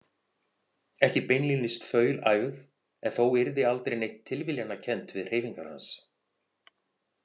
Ekki beinlínis þaulæfð en þó yrði aldrei neitt tilviljanakennt við hreyfingar hans.